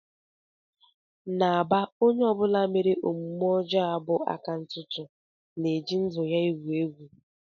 N'Aba onye ọ bụla mere omume ọjọọ a bụ aka ntụtụ na-eji ndụ ya egwu egwu